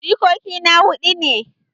Jikoki na hudu ne.